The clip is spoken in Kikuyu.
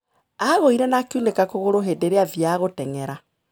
Aagũire na akĩunĩka kũgũrũ hĩndĩ ĩrĩa aathiaga gũteng'era.